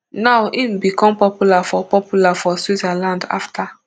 now im become popular for popular for switzerland afta